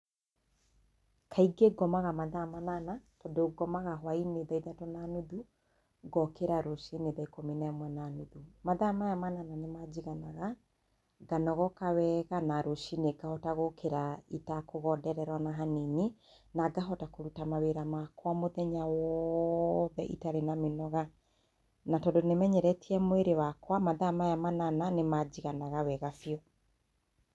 Kaingĩ ngomaga mathaa manana, tondũ ngomaga hwainĩ thaa ithatũ na nuthu ngokĩra rũcinĩ thaa ikumi na ĩmwe na nuthu. Mathaa maya manana nĩmanjiganaga, nganogoka wega na rũcinĩ ngahota gũkĩra itakũgonderera ona hanini na ngahota kũruta mawĩra makwa mũthenya wothe itarĩ na mĩnoga, na tondũ nĩ menyeretie mwĩrĩ wakwa mathaa maya manana nĩmanjiganaga wega biũ.